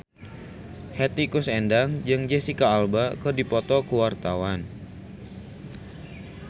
Hetty Koes Endang jeung Jesicca Alba keur dipoto ku wartawan